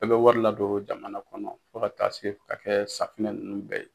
Bɛɛ bɛ wari ladon jamana kɔnɔ fɔ ka taa se ka kɛ safinɛ nunnu bɛɛ ye